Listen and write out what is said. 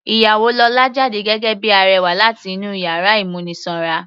Ìyàwó lọ́la jáde gẹ́gẹ́ bíi arẹwà láti inú yàrá ìmúnisanra.